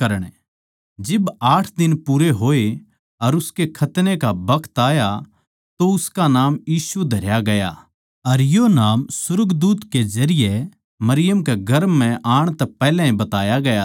जिब आठ दिन पूरे होए अर उसकै खतने का बखत आया तो उसका नाम यीशु धरया गया अर यो नाम सुर्गदूत के जरिये मरियम के गर्भ म्ह आण तै पैहल्या बताया गया था